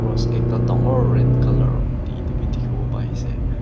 cross ekta dangor red colour etu be dikhiwo pai se.